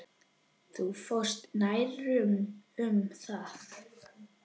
Þú fórst nærri um það.